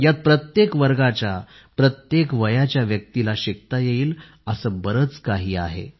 यात प्रत्येक वर्गाच्या आणि प्रत्येक वयाच्या व्यक्तींना शिकता येईल असे बरेच काही आहे